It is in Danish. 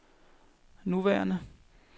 nuværende